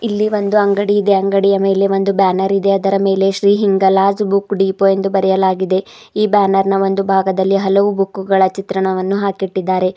ಇಲ್ಲಿ ಒಂದು ಅಂಗಡಿ ಇದೆ ಅಂಗಡಿಯ ಮೇಲೆ ಒಂದು ಬ್ಯಾನರ್ ಇದೆ ಅದರ ಮೇಲೆ Shri Hinglaj book depot ಎಂದು ಬರೆಯಲಾಗಿದೆ ಈ ಬ್ಯಾನರ್ ನ ಒಂದು ಬಾಗದಲ್ಲಿ ಹಲವು ಬುಕ್ ಗಳ ಚಿತ್ರಣವನ್ನು ಹಾಕಿಟ್ಟಿದ್ದಾರೆ.